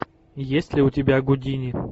есть ли у тебя гудини